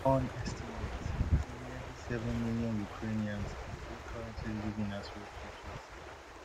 un estimates say nearly seven million ukrainians dey currently living as refugees